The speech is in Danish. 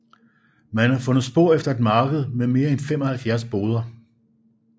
Man har fundet spor efter et marked med mere end 75 boder